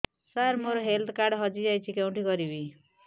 ସାର ମୋର health card ହଜି ଯାଇଛି କେଉଁଠି କରିବି